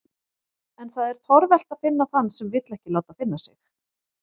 En það er torvelt að finna þann sem vill ekki láta finna sig.